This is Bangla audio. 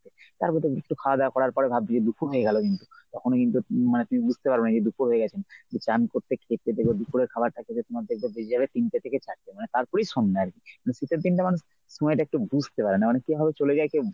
তারপর তো একটু খাওয়াদাওয়া করার পর ভাবছি যে দুপুর হয়ে গেল কিন্তু তখনও কিন্তু মানে তুমি বুঝতে পারবেনা যে দুপুর হয়ে গেছে চান করতে খেতে দেখবে দুপুরের খাবারটা খেতে তোমার দেখবে বেজে যাবে তিনটে থেকে চারটে মানে তারপরই সন্ধ্যা আরকি। তো শীতের দিনটা মানুষ সময়টা একটু বুঝতে পারে না মানে কিভাবে চলে যায় কেউ।